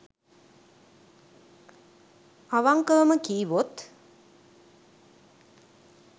අවංකවම කිව්වොත්